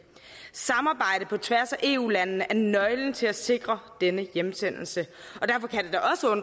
samarbejde på tværs af eu landene er nøglen til at sikre denne hjemsendelse